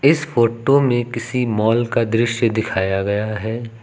इस फोटो में किसी मॉल का दृश्य दिखाया गया है।